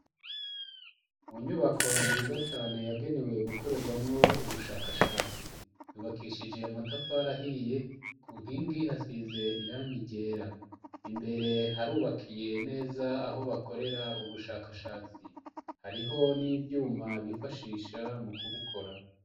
Mu nyubako nziza cane yagenewe gukorerwamwo ubushakashatsi yubakishije amatafari ahiye ku nkingi hasize irangi ryera imbere harubakiye neza aho bakorera ubushakashatsi hariho n'ivyuma bifashisha mu kubukora.